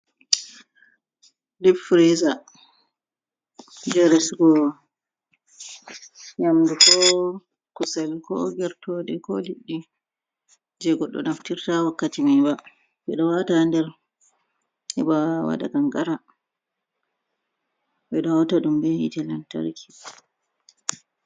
Dip firiza jey resugo yamdu ko kusel ko gertooɗe ko liɗɗi jey goɗɗo naftirta wakkati may ba. Ɓe ɗo waata a nder heɓa waɗa kankara, ɓe ɗo hawta ɗum be yiiite lantarki.